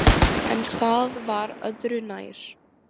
En það var öðru nær.